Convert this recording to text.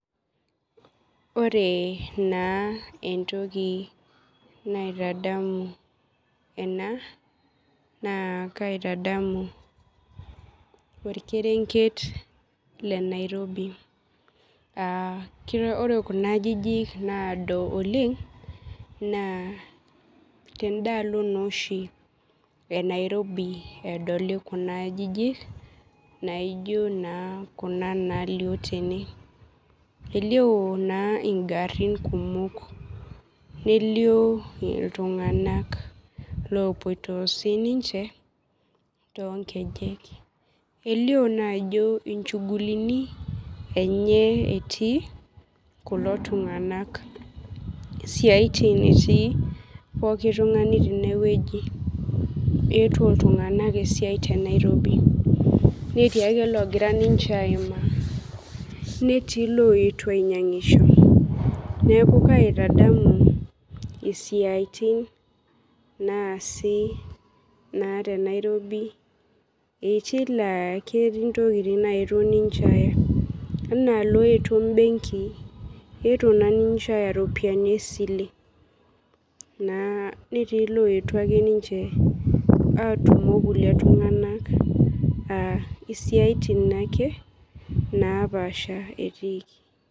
Wore naa entoki naitadamu ena, naa kaitadamu orkerenket lenairobi. Wore kuna ajijik naado oleng', naa tendaalo naa oshi e Nairobi edoli kuna ajijik naijo naa kuna naalio tene. Elio naa inkarrin kumok, nelio iltunganak loopoito sininche toonkejek. Elio naa ajo inchugulini enye etii kulo tunganak. Isiatin etii pookin tungani tenewoji, eetuo iltunganak esiai te Nairobi. Netii ake ilookira ninche aimaa, netii iloito ainyiangisho. Neeku kaitadamu isiatin naasi naa te Nairobi. Etii laa ketii intokitin laetuo ninche aaya, enaa ilaetuo ebenki, eetuo naa ninche aaya iropiyani esile, netii ilooyetuo ake ninche aatumo olkulie tunganak, aa isiatin naake naapaasha etiiki.